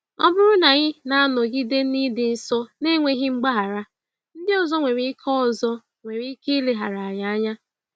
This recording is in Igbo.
Ọ bụrụ na anyị na-anọgide na ịdị nsọ n’enweghị mgbaghara, ndị ọzọ nwere ike ọzọ nwere ike ileghara anyị anya.